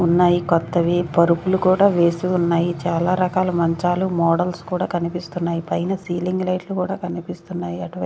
ఉన్నాయి కొత్తవి పరుపులు కూడా వేసి ఉన్నాయి చాలా రకాల మంచాలు మోడల్స్ కూడా కనిపిస్తున్నాయి పైన సీలింగ్ లైట్లు కూడా కనిపిస్తున్నాయి అటు--